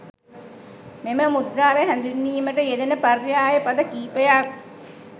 මෙම මුද්‍රාව හැඳින්වීමට යෙදෙන පර්යාය පද කීපයක්